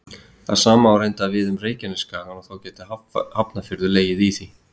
Það sama á reyndar við um Reykjanesskagann og þá gæti Hafnarfjörður legið í því.